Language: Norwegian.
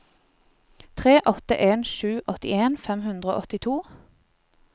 tre åtte en sju åttien fem hundre og åttito